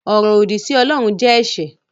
Ọ̀rọ̀ òdì sí Ọlọ́run jẹ́ ẹ̀ṣẹ̀